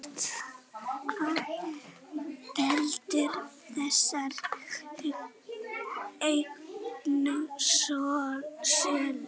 Hvað veldur þessari auknu sölu?